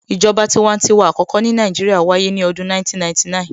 ìjọba tiwantiwa àkọ́kọ́ ní Nàìjíríà wáyé ní ọdún 1999